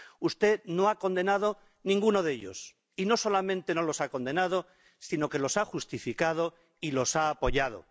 Usted no ha condenado ninguno de ellos, y no solamente no los ha condenado, sino que los ha justificado y los ha apoyado.